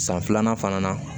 San filanan fana na